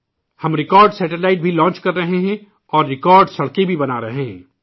ہم record satellite بھی launch کر رہے ہیں اورریکارڈ سڑکیں بھی بنا رہے ہیں